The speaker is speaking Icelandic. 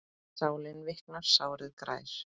Sálin viknar, sárið grær.